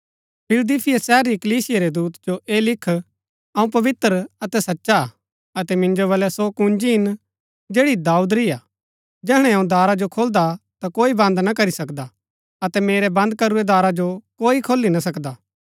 फिलदिफीया शहर री कलीसिया रै दूत जो ऐह लिख अऊँ पवित्र अतै सचा हा अतै मिन्जो बलै सो कुंजी हिन जैड़ी दाऊद री हा जैहणै अऊँ दारा जो खोलदा ता कोई बंद ना करी सकदा अतै मेरै बंद करुरै दारा जो कोई खोली ना सकदा